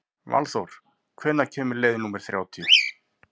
Valþór, hvenær kemur leið númer þrjátíu?